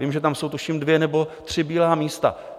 Vím, že tam jsou tuším dvě nebo tři bílá místa.